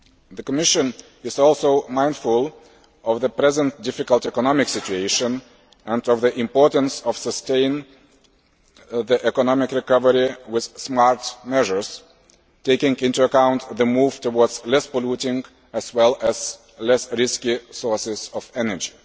The Commission is also mindful of the present difficult economic situation and of the importance of sustaining the economic recovery with smart measures, taking into account the move towards less polluting as well as less risky sources of energy.